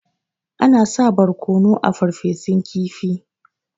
Ana sa barkono a Farfesun kifi.